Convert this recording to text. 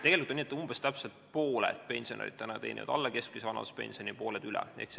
Tegelikult on nii, et umbes pooled pensionärid saavad alla keskmise vanaduspensioni ja pooled üle keskmise.